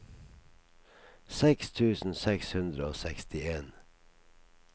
seks tusen seks hundre og sekstien